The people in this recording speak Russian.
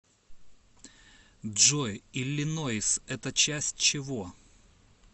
джой иллинойс это часть чего